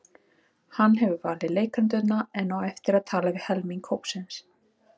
Hann hefur valið leikendurna en á eftir að tala við helming hópsins.